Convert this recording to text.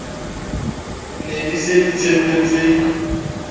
ne di se di tshepetse